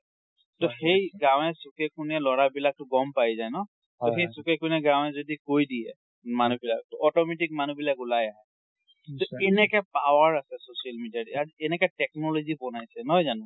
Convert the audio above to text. ট সেই গাঁওয়ে চুকে কোণে লৰা বিলাকটো গম পাই যাই ন। ট সেই চুকে কোণে গাঁওয়ে যদি কৈ দিয়ে মানুহবিলাকক, ট automatic মানুহবিলাক উলাই আহে। কেনেকে power আছে social media ত। কেনেকে technology বনাইছে, নহয় জানো?